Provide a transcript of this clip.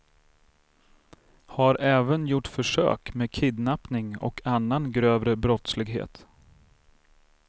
Har även gjort försök med kidnappning och annan grövre brottslighet.